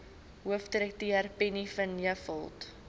hoofdirekteur penny vinjevold